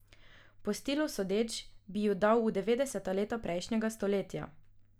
Po stilu sodeč bi ju dal v devetdeseta leta prejšnjega stoletja.